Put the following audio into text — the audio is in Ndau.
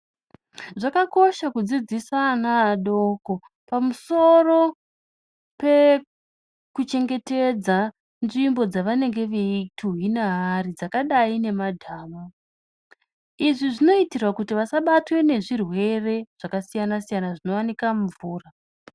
Zvakakosha kudzidzisa ana adoko pamusoro pekuchengetedza nzvimbo dzavanenge veituwina vari dzakadai nemadhamu izvi zinoitirwa kuti vasabatwe nezvirwere zvakasiyana siyana zvinooneka mumvura .